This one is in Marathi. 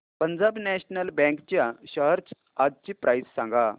पंजाब नॅशनल बँक च्या शेअर्स आजची प्राइस सांगा